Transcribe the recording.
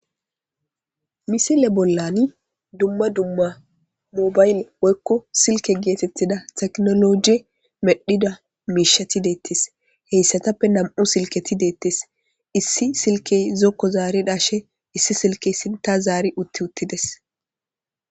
Misile bollani dumma dumma mobayle woykko silke geetetida teknolojey medhida miisheti de'etees hesaatappe nam'u silketi de'etees issi silkey zokko zaari dhashe issi silkey sintta zaari utti uttides.